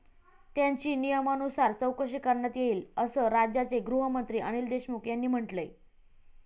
त्यांची नियमानुसार चौकशी करण्यात येईल असं राज्याचे गृहमंत्री अनिल देशमुख यांनी म्हंटलंय.